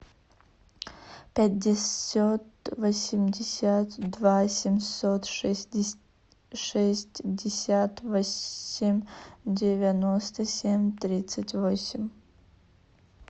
пятьдесят восемьдесят два семьсот шестьдесят восемь девяносто семь тридцать восемь